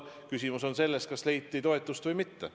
Küsimus on selles, kas need leidsid toetust või mitte.